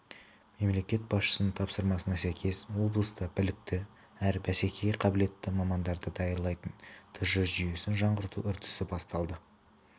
мемлекет басшысының тапсырмасына сәйкес облыста білікті әрі бәсекеге қабілетті мамандарды даярлайтын тж жүйесін жаңғырту үдерісі басталды